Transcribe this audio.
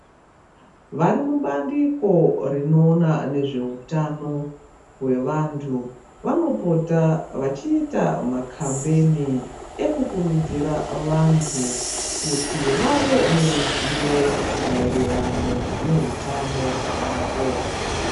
Vari mubandiko rinoona nezvehutano wevantu vanopota vachiita makambeni ekukuridzira vantu kuti vave neruzivo maererano nehutano hwavo.